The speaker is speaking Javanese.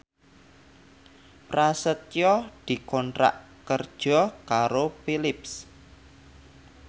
Prasetyo dikontrak kerja karo Philips